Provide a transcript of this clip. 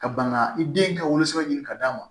Ka ban ka i den ka wolosɛbɛn ɲini ka d'a ma